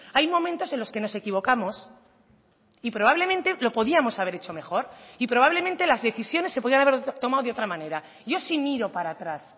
hay momentos en los que nos equivocamos y probablemente lo podíamos haber hecho mejor y probablemente las decisiones se podían haber tomado de otra manera yo sí miro para atrás